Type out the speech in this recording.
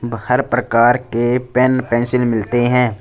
बाहर प्रकार के पेन पेंसिल मिलते हैं।